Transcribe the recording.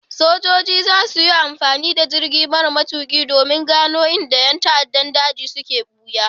Sojoji za su yi amfani da jirgi mara matuƙi domin gano inda ƴan ta'addan daji suke ɓuya.